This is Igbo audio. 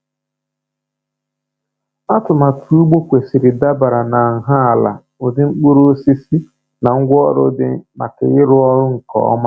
Atụmatụ ugbo kwesịrị dabara na nha ala, ụdị mkpụrụosisi, na ngwaọrụ dị maka ịrụ ọrụ nke ọma.